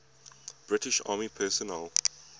british army personnel